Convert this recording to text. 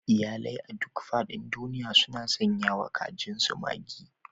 Iyalai a duk faɗin duniya suna sanyawa kajinsu Maggi.